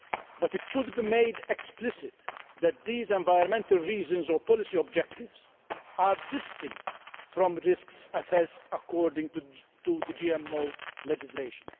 But it should be made explicit that these environmental reasons or policy objectives are distinct from risks assessed according to the GMO legislation.